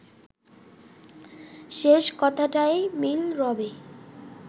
শেষ কথাটায় মিল রবে